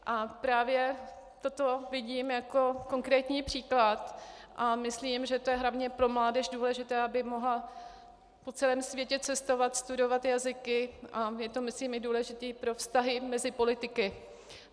A právě toto vidím jako konkrétní příklad a myslím, že to je hlavně pro mládež důležité, aby mohla po celém světě cestovat, studovat jazyky, a je to myslím i důležité pro vztahy mezi politiky.